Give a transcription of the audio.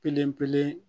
Kelen pee kelen